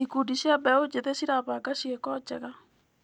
Ikundi cia mbeũ njĩthĩ cirabanga ciĩko njega.